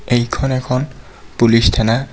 এইখন এখন পুলিচ থানা.